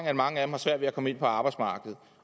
har mange af dem svært ved at komme ind på arbejdsmarkedet